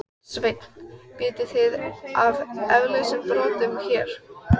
Sveinn: Vitið þið af eldsumbrotunum hér?